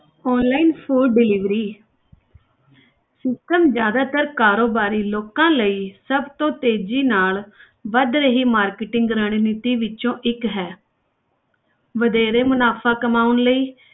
Online food delivery system ਜ਼ਿਆਦਾਤਰ ਕਾਰੋਬਾਰੀ ਲੋਕਾਂ ਲਈ ਸਭ ਤੋਂ ਤੇਜ਼ੀ ਨਾਲ ਵੱਧ ਰਹੀ marketing ਰਣਨੀਤੀ ਵਿੱਚੋਂ ਇੱਕ ਹੈ ਵਧੇਰੇ ਮੁਨਾਫ਼ਾ ਕਮਾਉਣ ਲਈ,